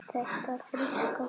Þetta fríska barn?